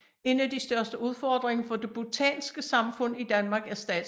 En af de største udfordringer for det bhutanske samfund i Danmark er statsløshed